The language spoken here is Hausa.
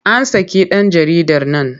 An saki ɗan jaridar nan.